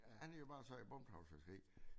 Han havde jo bare sagt bundtrawlfiskeri